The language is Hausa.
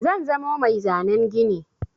Zan zamo mai zanen gini.